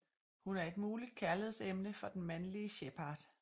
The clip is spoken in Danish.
Hun er et muligt kærligheds emne for den mandelige Shepard